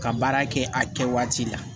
Ka baara kɛ a kɛ waati la